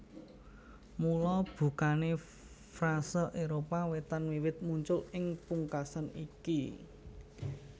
Mula bukané frase Éropah Wétan wiwit muncul ing pungkasan iki